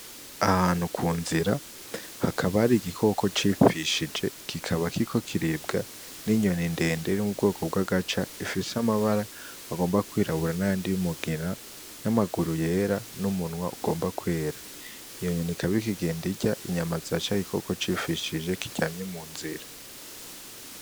Ahantu ku nzira, hakaba hari igikoko cipfishije. Kikaba kiriko kiribwa n'inyoni ndende yo mu bwoko bw'agaca, ifise amabara agomba kwirabura n'ayandi y'umugina, n'amaguru yera, n'umunwa ugomba kwera. Iyo nyoni ikaba iriko igenda irya inyama za ca gikoko cipfishije, kiryamye munzira.